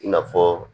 I n'a fɔ